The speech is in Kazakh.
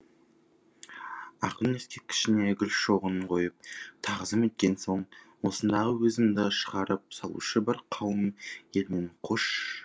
ақын ескерткішіне гүл шоғын қойып тағзым еткен соң осындағы өзімізді шығарып салушы бір қауым елмен қош